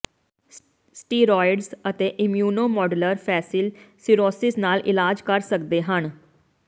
steroids ਅਤੇ immunomodulator facial psoriasis ਨਾਲ ਇਲਾਜ ਕਰ ਸਕਦੇ ਹਨ